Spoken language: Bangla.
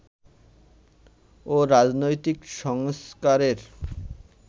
ও রাজনৈতিক সংস্কারের